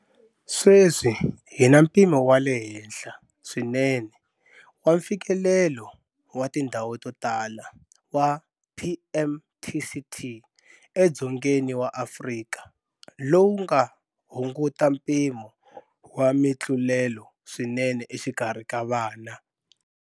Sweswi hi na mpimo wa le henhla swinene wa mfikelelo wa tindhwau to tala wa PMTCT eDzongeni wa Afrika lowu nga hunguta mpimo wa mitlulelo swinene exikarhi ka vana.